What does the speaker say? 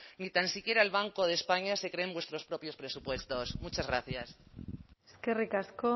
ni tan siquiera el banco de españa se creen vuestros propios presupuestos muchas gracias eskerrik asko